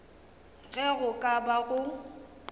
ge go ka ba go